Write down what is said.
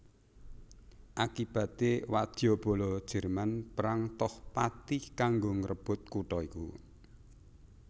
Akibaté wadyabala Jerman perang toh pati kanggo ngrebut kutha iku